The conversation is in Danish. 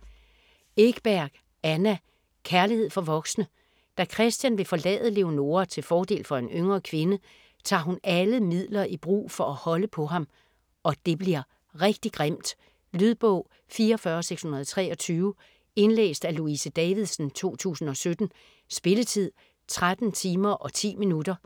Ekberg, Anna: Kærlighed for voksne Da Christian vil forlade Leonora til fordel for en yngre kvinde, tager hun alle midler i brug for at holde på ham. Og det bliver rigtig grimt. Lydbog 44623 Indlæst af Louise Davidsen, 2017. Spilletid: 13 timer, 10 minutter.